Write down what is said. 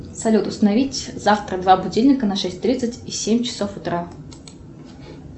салют установить завтра два будильника на шесть тридцать и семь часов утра